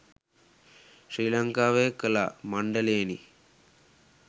ශ්‍රී ලංකාවේ කලා මණ්ඩලයෙනි.